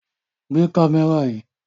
Gbé kámẹ́rà yìí!